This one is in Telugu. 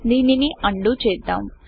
దీనిని అండూundo చేద్దాం